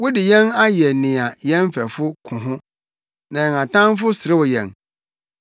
Wode yɛn ayɛ nea yɛn mfɛfo ko ho, na yɛn atamfo serew yɛn.